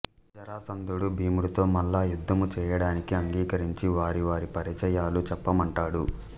జరాసంధుడు భీముడితో మల్లయుద్ధము చేయడానికి అంగీకరించి వారి వారి పరిచయాలు చెప్పమంటాడు